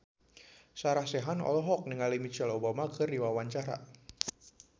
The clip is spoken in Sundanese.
Sarah Sechan olohok ningali Michelle Obama keur diwawancara